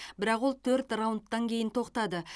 бірақ ол төрт раундтан кейін тоқтады